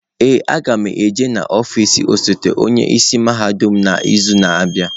Ee, a ga m aga n'ọfịs osote onye isi mahadum n'izu na-abịa.